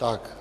Tak.